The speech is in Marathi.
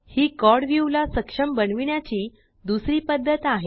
ही क्वाड व्यू ला सक्षम बनविण्याची दुसरी पद्धत आहे